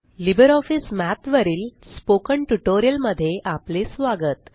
Libre office Math वरील spoken tutorial मध्ये आपले स्वागत